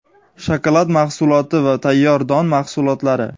shokolad mahsulotlari va tayyor don mahsulotlari.